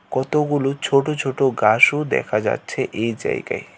কতগুলো ছোট ছোট গাসও দেখা যাচ্ছে এই জায়গায়।